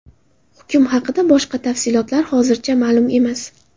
Hukm haqida boshqa tafsilotlar hozircha ma’lum emas.